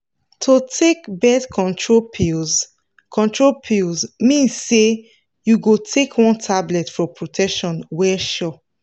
to take birth control pills control pills mean say you go take one tablet for protection wey sure.